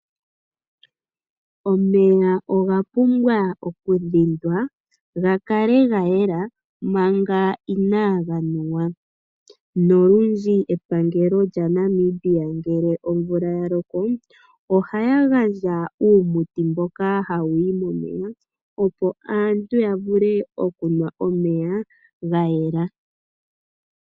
Omeya oga pumbwa okudhindwa gakale gayela manga inaga nuwa, nolundji epangelo lyaNamibia ngele omvula yaloko ohaya gandja uumuti mboka hawu yi momeya opo aantu yanwe omeya gayela.